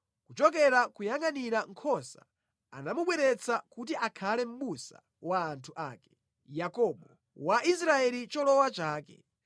kuchokera koyangʼanira nkhosa anamubweretsa kuti akhale mʼbusa wa anthu ake, Yakobo, wa Israeli cholowa chake.